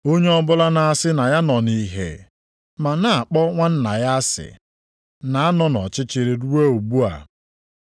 Onye ọbụla na-asị na ya nọ nʼìhè ma na-akpọ nwanna ya asị, na-anọ nʼọchịchịrị ruo ugbu a.